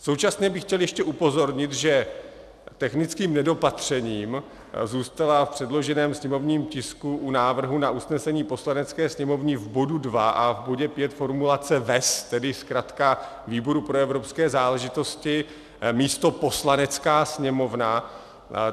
Současně bych chtěl ještě upozornit, že technickým nedopatřením zůstala v předloženém sněmovním tisku u návrhu na usnesení Poslanecké sněmovny v bodu 2 a v bodě 5 formulace VEZ, tedy zkratka výboru pro evropské záležitosti místo Poslanecká sněmovna.